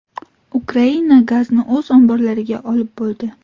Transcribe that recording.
Ukraina gazni o‘z omborlariga olib bo‘ldi.